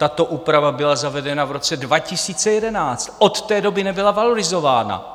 Tato úprava byla zavedena v roce 2011, od té doby nebyla valorizována.